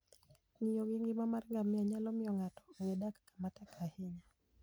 Ng'iyo gi ngima mar ngamia nyalo miyo ng'ato ong'e dak kama tek ahinya.